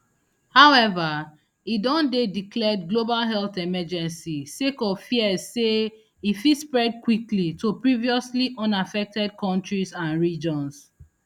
however e don dey declared global health emergency sake of fears say e fit spread quickly to previously unaffected kontries and regions